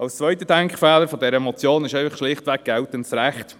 Der zweite Denkfehler der Motion liegt schlichtweg im geltenden Recht: